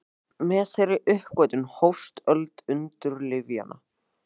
Með þeirri uppgötvun hófst öld undralyfjanna.